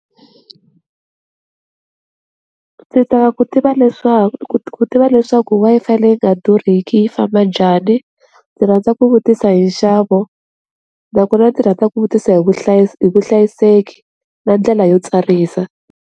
Ndzi ta ku tiva leswaku ku ti tiva leswaku Wi-Fi leyi nga durhiki yi famba njhani ndzi rhandza ku vutisa hi nxavo nakona ndzi rhandza ku vutisa hi hi vuhlayiseki na ndlela yo tsarisa,